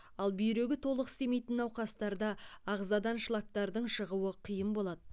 ал бүйрегі толық істемейтін науқастарда ағзадан шлактардың шығуы қиын болады